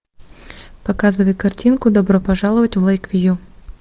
показывай картинку добро пожаловать в лэйквью